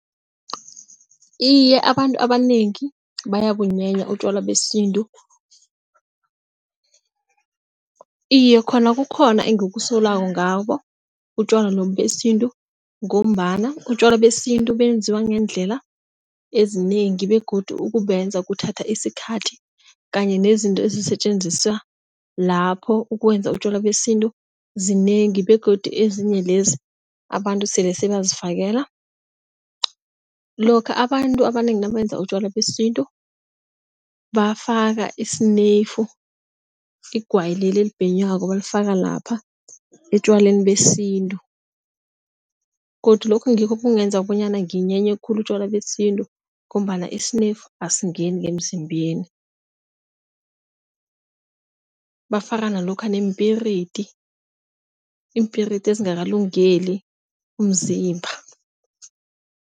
Iye, abantu abanengi bayabunyenya utjwala besintu. Iye, khona kukhona engikusolako ngabo utjwala lobu besintu ngombana utjwala besintu benziwa ngeendlela ezinengi begodu ukubenza kuthatha isikhathi. Kanye nezinto ezisetjenziswa lapho ukwenza utjwala besintu zinengi begodu ezinye lezi abantu sele sebazifakelana. Lokha abantu abanengi nabenza utjwala besintu bafaka isineyifu igwayi leli elibhenywako, balifaka lapha etjwaleni besintu godu lokho ngikho okungenza bonyana nginyenye khulu utjwala besintu ngombana isineyifu asingeni ngemzimbeni. Bafaka nalokha neempiridi, iimpiridi ezingakalungeli umzimba.